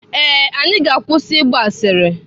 Ee, anyị ga-akwụsị ịgba asịrị.